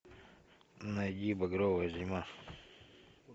найди багровая зима